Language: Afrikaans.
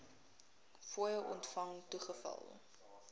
fooie ontvang toegeval